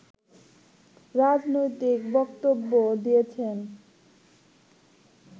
রাজনৈতিক বক্তব্য দিয়েছেন